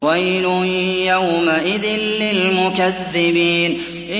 وَيْلٌ يَوْمَئِذٍ لِّلْمُكَذِّبِينَ